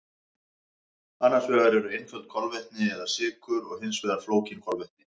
Annars vegar eru einföld kolvetni eða sykur og hins vegar flókin kolvetni.